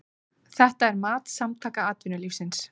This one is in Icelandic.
Þetta er mat Samtaka atvinnulífsins